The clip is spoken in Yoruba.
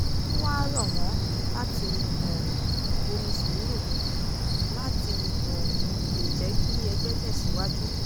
ó wáá rọ̀ wọ́n láti um bomi sùúrù mu láti um lè jẹ́ kí ẹgbẹ́ tẹ̀síwájú